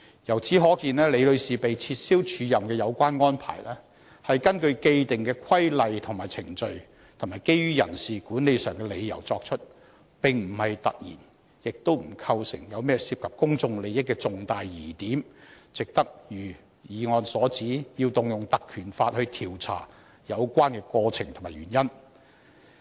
由此可見，李女士被撤銷署任的有關安排，是根據既定的規例和程序，以及基於人事管理上的理由而作出，並不"突然"，也不構成甚麼涉及公眾利益的重大疑點，以致值得如議案所指，須引用《條例》調查有關的過程和原因。